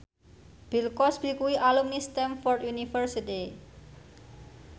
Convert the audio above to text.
Bill Cosby kuwi alumni Stamford University